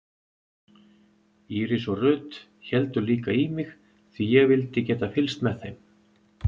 Íris og Ruth héldu líka í mig því ég vildi geta fylgst með þeim.